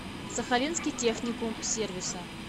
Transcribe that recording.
сахалинский техникум сервиса